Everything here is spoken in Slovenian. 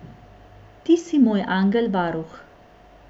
Ti si moj angel varuh.